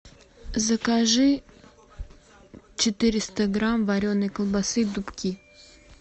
закажи четыреста грамм вареной колбасы дубки